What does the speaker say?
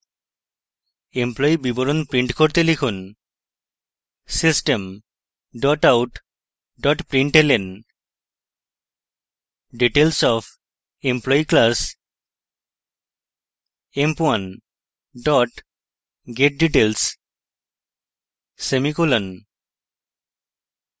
employee বিবরণ print করতে লিখুন: system out println details of employee class: emp1 getdetails semicolon